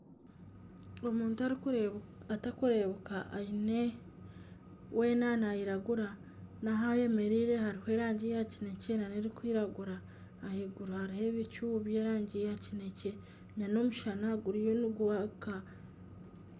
Omuntu atakureebuka weena nayiragura n'ahu ayemereire hariho erangi ya kinekye n'erikwiragura ahaiguru hariyo ebicu by'erangi ya kinekye n'omushana guriyo nigwaka.